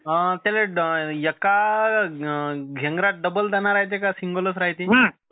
त्याले एका गेंगारात डबल दाना राहायते कि सिंगलच राहायते.